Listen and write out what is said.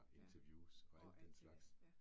Ja, og alt det der, ja